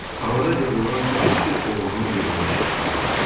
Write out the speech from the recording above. Havada qıvrılan qamçı oğrunun belində şaqqıldadı.